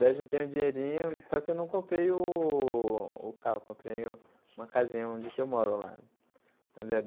Daí eu juntei um dinheirinho, só que eu não comprei o o carro, comprei um uma casinha onde que eu moro lá. Onde é